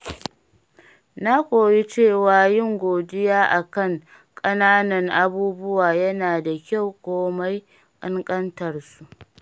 Na koyi cewa yin godiya a kan ƙananan abubuwa yana da kyau komai ƙanƙantar su.